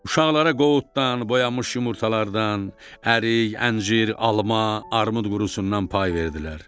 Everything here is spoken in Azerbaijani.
Uşaqlara qovuddan, boyamış yumurtalardan, ərik, əncir, alma, armud qurusundan pay verdilər.